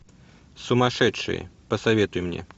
сумасшедшие посоветуй мне